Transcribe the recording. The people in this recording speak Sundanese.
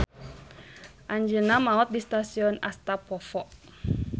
Anjeunna maot di stasion Astapovo.